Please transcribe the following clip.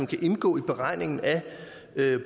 kan indgå i beregningen af